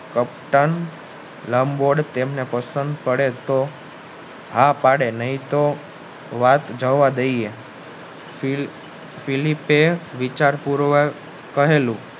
હા પડે નહિ તો વાત જવાદઈયે વિચાર પુરવવક કહેલું